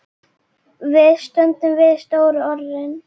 Við stöndum við stóru orðin.